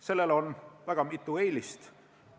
Sellel on mitu eelist.